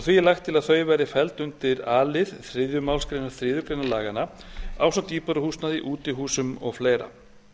er lagt til hér að þau verði felld undir a lið þriðju málsgrein þriðju grein laganna ásamt íbúðarhúsnæði útihúsum og fleiri